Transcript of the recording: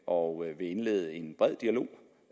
og vil indlede en bred dialog